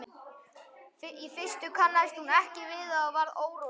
Í fyrstu kannaðist hún ekki við það og varð óróleg.